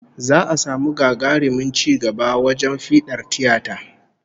Za'a samu gagarumin ci gaba wajen fiɗar tiyata